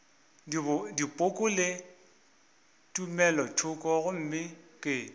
dipoko le tumelothoko gomme ke